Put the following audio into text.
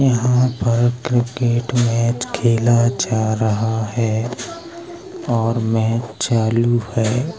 यहाँ पर cricket match खेल जा रहा है और मैंच चालू है।